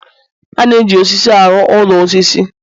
a na-eji osisi arụ ụlọ osisi